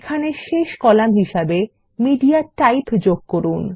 এখানে শেষ কলাম হিসাবে মিডিয়াটাইপ যোগ করুন